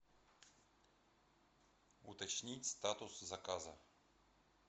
уточнить статус заказа